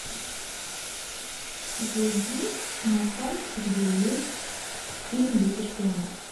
зайди на сайт где есть фильм дети шпионов